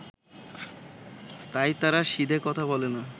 তাই তারা সিধে কথা বলে না